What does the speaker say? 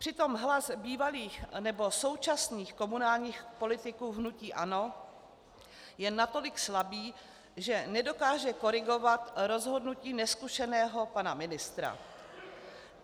Přitom hlas bývalých nebo současných komunálních politiků hnutí ANO je natolik slabý, že nedokáže korigovat rozhodnutí nezkušeného pana ministra.